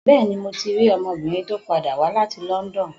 Bẹ́ẹ̀ni, mo ti rí ọmọbìnrin tó padà wá láti London.